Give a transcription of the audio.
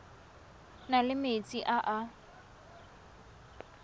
na le metsi a a